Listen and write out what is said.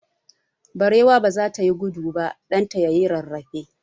Barewa ba za ta yi gudu ba, ɗan ta ya yi rarrafe.